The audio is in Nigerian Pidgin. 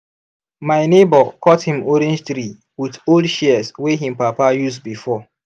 my neighbor cut him orange tree with old shears wey him papa use before.